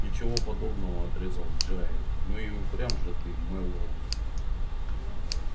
ничего подобного отрезал джаэль ну и упрям же ты мэллоу